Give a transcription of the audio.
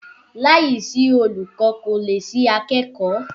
Láìsí olùkọ́ kò lè sí akẹ́kọ̀ọ́